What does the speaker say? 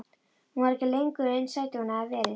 Hún var ekki lengur eins sæt og hún hafði verið.